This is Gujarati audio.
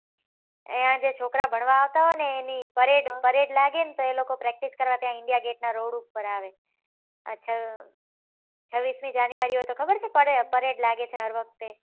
અયીયા જે છોકરા ભણવા આવતા હોય ને એની parade parade લાગે ને તો એ લોકો practice કરવા ત્યાં india gate ના રોડ ઉપર આવે છવીશ મી january હોય તો ખબર છે parade લાગે હર વખતે